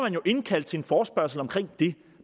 jo indkalde til en forespørgsel om det